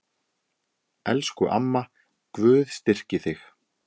Elsku amma, Guð styrki þig.